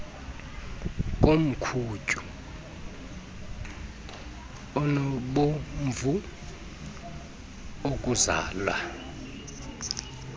komkhunyu onobomvu okuzala